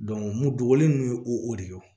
mun dogolen ye o de ye o